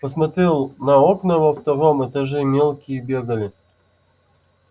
посмотрел на окна во втором этаже мелкие бегали